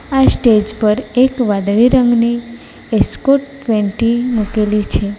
આ સ્ટેજ પર એક વાદળી રંગની એસ્કોર્ટ ટ્વેન્ટી મૂકેલી છે.